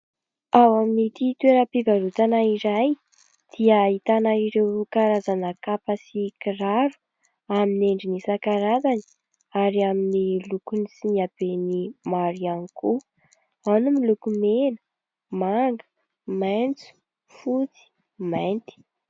Ao amin'itỳ toeram-pivarotana iray dia ahitana ireo karazana kapa sy kiraro amin'ny endriny isan-karazany ary amin'ny lokony sy ny habeny maro ihany koa. Ao ny miloko mena, manga, maitso, fotsy, mainty.